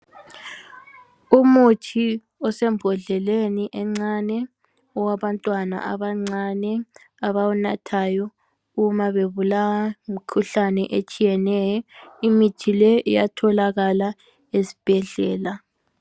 Umuthi osembodleleni encane owabantwana abancane abawunathayo uma bebulawa ngumkhuhlane etshiyeneyo. Imithi le iyatholakala ezibhedlela.